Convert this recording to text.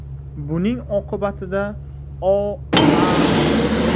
Buning oqibatida O.A.